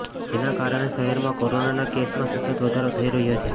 જેના કારણે શહેરમાં કોરોનાના કેસમાં સતત વધારો થઇ રહ્યો છે